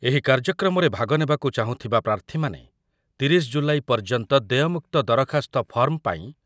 ଏହି କାର୍ଯ୍ୟକ୍ରମରେ ଭାଗ ନେବାକୁ ଚାହୁଁଥିବା ପ୍ରାର୍ଥୀମାନେ ତିରିଶ ଜୁଲାଇ ପର୍ଯ୍ୟନ୍ତ ଦେୟମୁକ୍ତ ଦରଖାସ୍ତ ଫର୍ମ ପାଇଁ